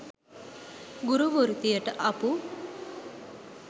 ගුරු වෘත්තියට අපු